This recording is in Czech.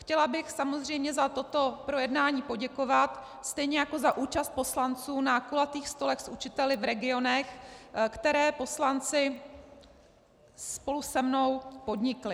Chtěla bych samozřejmě za toto projednání poděkovat, stejně jako za účast poslanců na kulatých stolech s učiteli v regionech, které poslanci spolu se mnou podnikli.